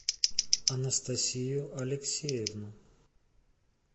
анастасию алексеевну